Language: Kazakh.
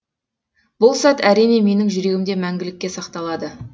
бұл сәт әрине менің жүрегімде мәңгілікке сақталады